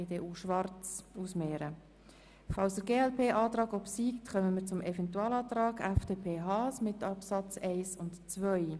Falls der glp-Antrag obsiegt, kommen wir zum Eventualantrag der FDP mit Absätzen 1 und 2.